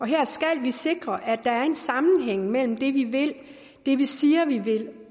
her skal vi sikre at der er en sammenhæng mellem det vi vil det vi siger vi vil